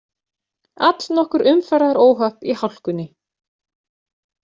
Allnokkur umferðaróhöpp í hálkunni